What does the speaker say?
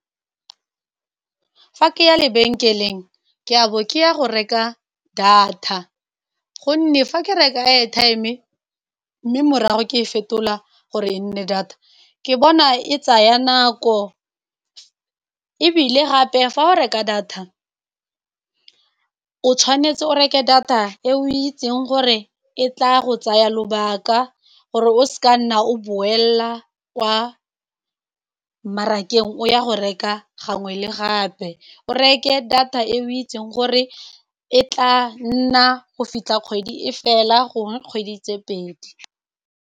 Fa ke ya lebenkeleng ke a bo ke ya go reka data, gonne fa ke reka airtime ke mme morago ke e fetola gore e nne data, ke bona e tsaya nako. Ebile gape fa go reka data o tshwanetse o reke data e o itseng gore e tla go tsaya lobaka, gore o se ka nna o boela kwa mmarakeng o ya go reka gangwe le gape. O reke data e o itseng gore e tla nna go fitlha kgwedi e fela, gongwe kgwedi tse pedi.